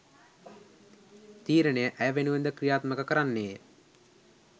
තීරණය ඇය වෙනුවෙන්ද ක්‍රියාත්මක කරන්නේය